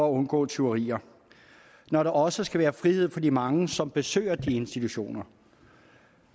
at undgå tyverier når der også skal være frihed for de mange som besøger de institutioner